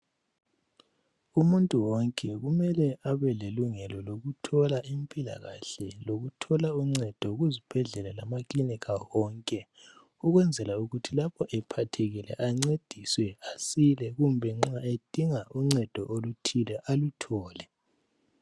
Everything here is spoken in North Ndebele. Umuntu wonke kumele abe lelungelo lokuthola impilakahle lokuthola uncedo kuzibhedlela lama kilinika wonke, ukwenzela ukuthi lapho ephathekile ancediswe asile kumbe nxa edinga uncedo oluthile aluthole.